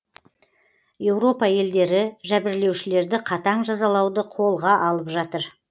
еуропа елдері жәбірлеушілерді қатаң жазалауды қолға алып жатыр